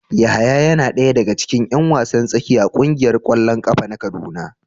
Yahaya yana daya daga cikin yan wasan tsakiya a kungiyar kwallon kafa na kaduna.